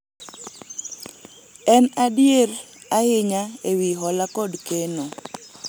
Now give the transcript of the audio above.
en adier , ahinya ewi hola kod keno